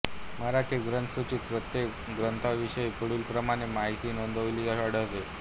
मराठी ग्रंथसूचीत प्रत्येक ग्रंथाविषयी पुढीलप्रमाणे माहिती नोेंदवलेली आढळते